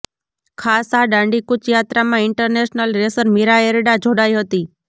ખાસ આ દાંડીકુચ યાત્રામાં ઇન્ટરનેશનલ રેસર મીરા એરડા જોડાઈ હતી